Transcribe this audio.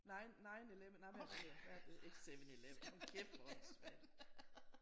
Nine 9/11 nej hvad er det det hedder hvad er det det hedder ikke 7/11 hold kæft hvor åndssvagt